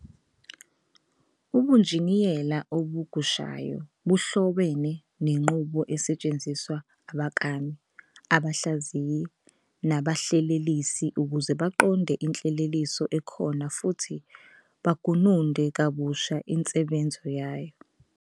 Ubunjiniyela obugushayo buhlobene nenqubo esetshenziswa abaklami, abahlaziyi, nabahlelelisi ukuze baqonde Inhleleliso ekhona futhi bagununde kabushe insebenzo yayo.